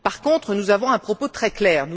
Par contre, nous avons un propos très clair.